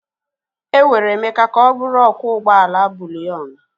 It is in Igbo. Enwere Emeka ka ọ bụrụ ọkwọ ụgbọ ala buliyon.